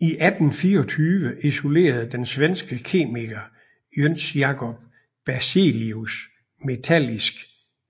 I 1824 isolerede den svenske kemiker Jöns Jakob Berzelius metallisk